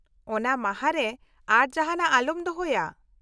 ᱚᱱᱟ ᱢᱟᱦᱟ ᱨᱮ ᱟᱨ ᱡᱟᱦᱟᱸᱱᱟᱜ ᱟᱞᱚᱢ ᱫᱚᱦᱚᱭᱟ ᱾